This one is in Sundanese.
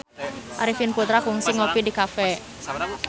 Arifin Putra kungsi ngopi di cafe